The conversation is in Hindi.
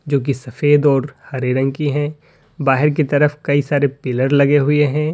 जो की सफेद और हरे रंग की हैं बाहर की तरफ कई सारे पिलर लगे हुए हैं।